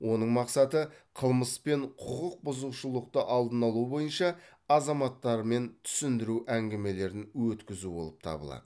оның мақсаты қылмыс пен құқық бұзушылықты алдын алу бойынша азаматтармен түсіндіру әңгімелерін өткізу болып табылады